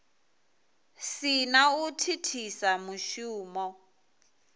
si na u thithisa mushumo